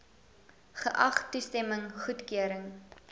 geag toestemming goedkeuring